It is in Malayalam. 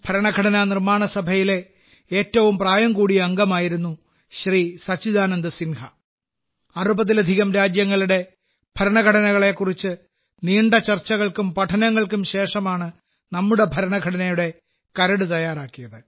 ഭരണഘടനാ നിർമ്മാണ സഭയിലെ ഏറ്റവും പ്രായം കൂടിയ അംഗമായിരുന്നു ശ്രീ സച്ചിദാനന്ദ് സിൻഹ അറുപതിലധികം രാജ്യങ്ങളുടെ ഭരണഘടനയെക്കുറിച്ച് നീണ്ട ചർച്ചകൾക്കും പഠനങ്ങൾക്കും ശേഷമാണ് നമ്മുടെ ഭരണഘടനയുടെ കരട് തയ്യാറാക്കിയത്